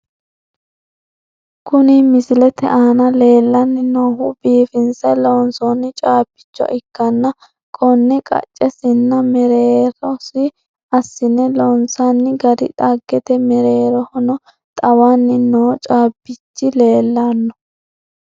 Kuni misilete aana leellanni noohu biifinse loonsoonni caabbicho ikkanna konne qaccesinna mereetosi assine loonsoonni gari xaggete, mereerohono xawanni noo caabbichi leellanno.